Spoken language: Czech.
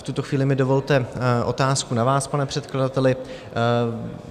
V tuto chvíli mi dovolte otázku na vás, pane předkladateli.